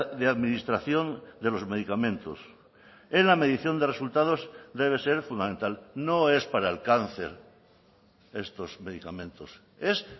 de administración de los medicamentos en la medición de resultados debe ser fundamental no es para el cáncer estos medicamentos es